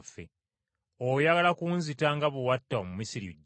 Oyagala kunzita nga bwe watta Omumisiri jjo?’